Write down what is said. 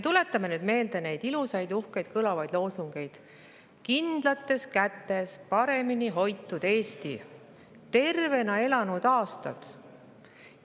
Tuletame meelde neid ilusaid, uhkeid, kõlavaid loosungeid: "Kindlates kätes", "Paremini hoitud Eesti", "Tervena elatud aastad".